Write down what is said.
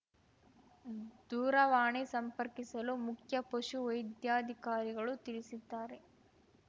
ದೂರವಾಣಿ ಸಂಪರ್ಕಿಸಲು ಮುಖ್ಯ ಪಶು ವೈದ್ಯಾಧಿಕಾರಿಗಳು ತಿಳಿಸಿದ್ದಾರೆ